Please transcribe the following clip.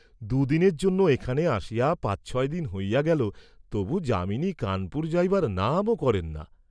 দু’দিনের জন্য এখানে আসিয়া পাঁচ ছয় দিন হইয়া গেল, তবু যামিনী কানপুর যাইবার নামও করেন না।